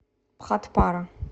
бхатпара